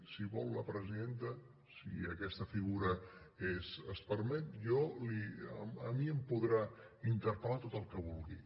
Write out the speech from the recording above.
si vol la presidenta si aquesta figura es permet a mi em podrà interpel·lar tot el que vulgui